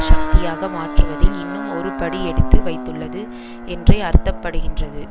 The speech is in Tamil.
சக்தியாக மாற்றுவதில் இன்னும் ஒரு படி எடுத்து வைத்துள்ளது என்றே அர்த்தப்படுகின்றது